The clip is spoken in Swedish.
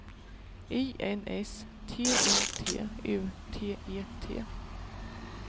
I N S T I T U T E T